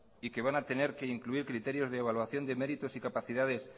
y que van a tener que incluir criterios de evaluación de méritos y capacidades